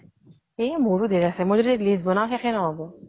এ মোৰো ধেৰ আছে । মই যদি list বনাও, শেষে নহব